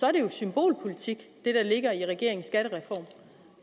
er det jo symbolpolitik det der ligger i regeringens skattereform